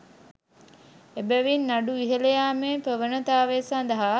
එබැවින් නඩු ඉහළ යෑමේ ප්‍රවණතාව සඳහා